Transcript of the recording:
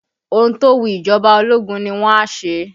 Ohun tó wu ìjọba ológun ni wọn a ṣe